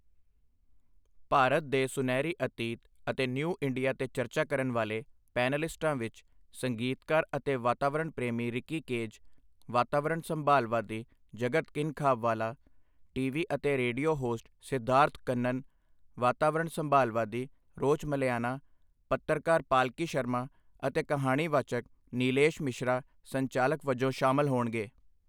ਭਾਰਤ ਦੇ ਸੁਨਹਿਰੀ ਅਤੀਤ ਅਤੇ ਨਿਊ ਇੰਡੀਆ ਤੇ ਚਰਚਾ ਕਰਨ ਵਾਲੇ ਪੈਨਲਲਿਸਟਾਂ ਵਿੱਚ ਸੰਗੀਤਕਾਰ ਅਤੇ ਵਾਤਾਵਰਣ ਪ੍ਰੇਮੀ ਰਿੱਕੀ ਕੇਜ, ਵਾਤਾਵਰਣ ਸੰਭਾਲਵਾਦੀ ਜਗਤ ਕਿਨਖਾਬਵਾਲਾ, ਟੀਵੀ ਅਤੇ ਰੇਡੀਓ ਹੋਸਟ ਸਿਧਾਰਥ ਕੰਨਨ, ਵਾਤਾਵਰਣ ਸੰਭਾਲਵਾਦੀ ਰੋਚਮਲਿਆਨਾ, ਪੱਤਰਕਾਰ ਪਾਲਕੀ ਸ਼ਰਮਾ ਅਤੇ ਕਹਾਣੀ ਵਾਚਕ ਨੀਲੇਸ਼ ਮਿਸ਼ਰਾ ਸੰਚਾਲਕ ਵਜੋਂ ਸ਼ਾਮਲ ਹੋਣਗੇ।